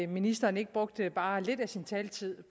ministeren ikke brugte bare lidt af sin taletid